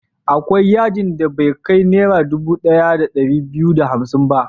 Akwai yadin da bai kai Naira dubu ɗaya da ɗari biyu da hamsin ba.